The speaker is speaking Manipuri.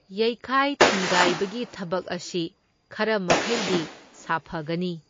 ꯌꯩꯈꯥꯏ ꯊꯤꯟꯒꯥꯏꯕꯒꯤ ꯊꯕꯛ ꯑꯁꯤ ꯈꯔ ꯃꯈꯩꯗꯤ ꯁꯥꯐꯒꯅꯤ꯫